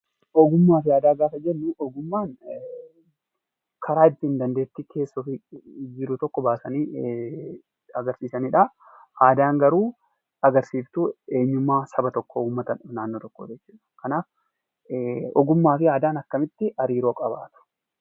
Ogummaa fi aadaa gaafa jennu, ogummaan karaa ittiin dandeettii keessa ofii jiru tokko baasanii agarsiisanidha. Aadaan garuu agarsiistuu eenyummaa saba tokkoo, uummata naannoo tokkoo jechuudha. Kanaaf ogummaa fi aadaan akkamitti hariiroo qabaatu?